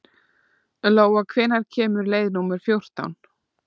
Lóa, hvenær kemur leið númer fjórtán?